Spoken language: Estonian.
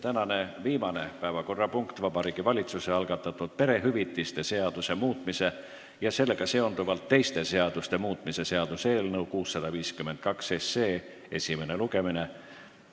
Tänane viimane päevakorrapunkt on Vabariigi Valitsuse algatatud perehüvitiste seaduse muutmise ja sellega seonduvalt teiste seaduste muutmise seaduse eelnõu 652 esimene lugemine.